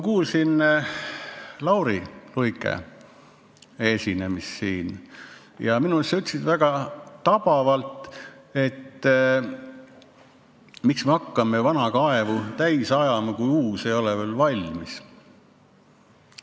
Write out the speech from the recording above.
Lauri Luik ütles minu arust väga tabavalt, et miks me hakkame vana kaevu täis ajama, kui uus ei ole veel valmis.